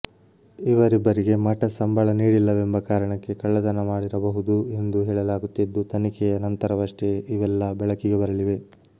ಇವರಿಬ್ಬರಿಗೆ ಮಠ ಸಂಬಳ ನೀಡಿಲ್ಲವೆಂಬ ಕಾರಣಕ್ಕೆ ಕಳ್ಳತನ ಮಾಡಿರಬಹುದು ಎಂದು ಹೇಳಲಾಗುತ್ತಿದ್ದು ತನಿಖೆಯ ನಂತರವಷ್ಟೆ ಇವೆಲ್ಲಾ ಬೆಳಕಿಗೆ ಬರಲಿವೆ